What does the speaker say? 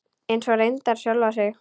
Eins og reyndar sjálfa sig.